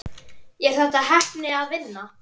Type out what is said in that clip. Er þetta heppni eða vinna?